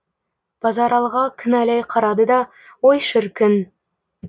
базаралыға кінәлай қарады да ой шіркін